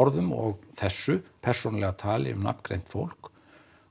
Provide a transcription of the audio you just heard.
orðum og þessu persónulegu tali um nafngreint fólk